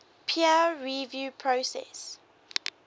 peer review process